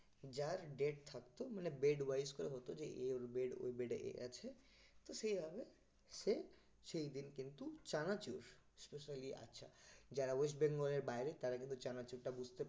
যার date থাকতো মানে bed wise করে হতো যে এর bed ও bed এ আছে তো সেই ভাবে সে সেই দিন কিন্তু চানাচুর specially আঁচার যারা west bengal এর বাইরে তারা কিন্তু চানাচুরটা বুঝতে